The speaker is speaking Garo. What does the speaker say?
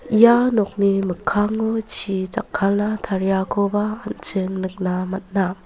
ia nokni mikkango chi jakkalna tariakoba an·ching nikna man·a.